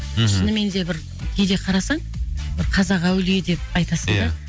мхм шынымен де бір кейде қарасаң бір қазақ әулие деп айтасың да